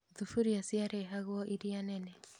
Thuburia ciarehagwo iria nene